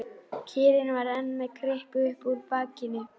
Kýrin var enn með kryppu upp úr bakinu.